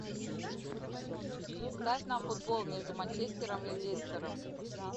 ставь нам футбол между манчестером и лестером